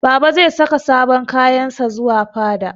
Baba zai saka sabon kayan sa zuwa fada.